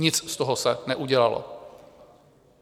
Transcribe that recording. Nic z toho se neudělalo.